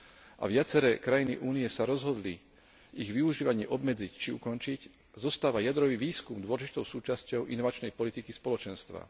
a viaceré krajiny Únie sa rozhodli ich využívanie obmedziť či ukončiť, zostáva jadrový výskum dôležitou súčasťou inovačnej politiky Spoločenstva.